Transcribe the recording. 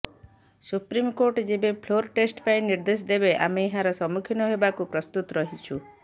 supreme court ଯେବେ floor test ପାଇଁ ନିର୍ଦ୍ଦେଶ ଦେବେ ଆମେ ଏହାର ସମ୍ମୁଖୀନ ହେବାକୁ ପ୍ରସ୍ତୁତ ରହିଛୁ